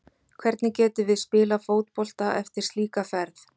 Hvernig getum við spilað fótbolta eftir slíka ferð?